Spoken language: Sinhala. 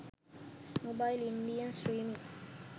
mobile indian streaming